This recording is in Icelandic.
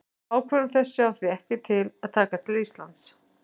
Ákvörðun þessi á því ekki að taka til Íslands.